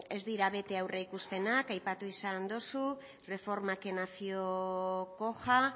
ez direla bete aurreikuspenak aipatu izan duzu reforma que nació coja